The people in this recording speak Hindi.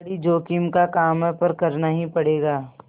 बड़ी जोखिम का काम है पर करना ही पड़ेगा